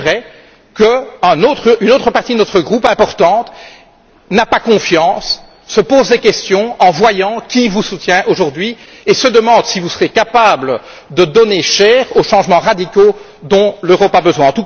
Mais c'est vrai qu'une autre partie importante de notre groupe n'a pas confiance, se pose des questions en voyant qui vous soutient aujourd'hui et se demande si vous serez capable de donner chair aux changements radicaux dont l'Europe a besoin.